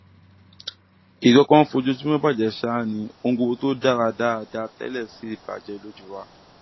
nǹkan kan ń fojoojúmọ bàjẹ ṣáá ni ohun gbogbo tó dára dáadáa tẹlẹ sì bàjẹ lójú wa